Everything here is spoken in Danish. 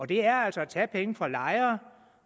det er altså at tage penge fra lejere